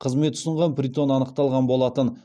қызмет ұсынған притон анықталған болатын